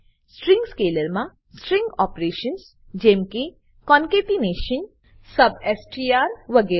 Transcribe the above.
string સ્કેલરમા string operations જેમકે concatenation substr concatenation વગરે